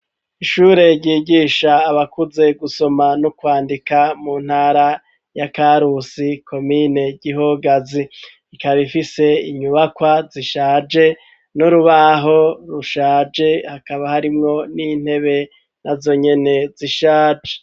Ishure ryigisha abakuze gusoma no kwandika mu ntara ya Karusi komine Gihogazi ikaba ifise inyubakwa zishaje n'urubaho rushaje hakaba harimwo n'intebe na zonyene zishaje.